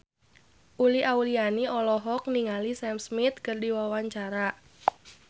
Uli Auliani olohok ningali Sam Smith keur diwawancara